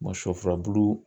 shɔ furabulu